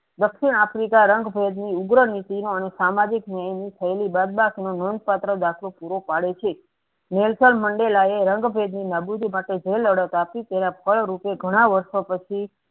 દક્ષિણ આફ્રિકા રંગ ભેદની ઉગ્ર નીતિ અને સામાજિક ન્યાયની થયેલી બદબાગ નોંધ પાત્ર દાખલો પૂરો પડે છે હેન્સન મંડેલાએ રંગ ભેદની નાબુદી માટે જે લડત આપી તેના ફળ રૂપે ધણા વર્ષો પછી